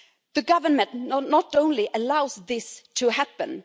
The government not only allows this to happen